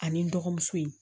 Ani n dɔgɔmuso in